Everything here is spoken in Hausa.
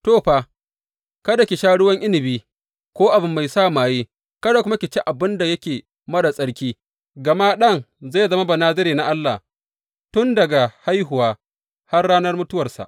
To, fa, kada ki sha ruwan inabi ko abu mai sa maye kada kuma ki ci abin da yake marar tsarki, gama ɗan zai zama Banazare na Allah tun daga haihuwa har ranar mutuwarsa.’